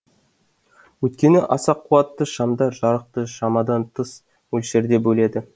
өйткені аса куатты шамдар жарықты шамадан тыс мөлшерде бөледі